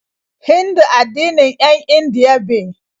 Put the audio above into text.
Hindu addinin 'yan Indiya be.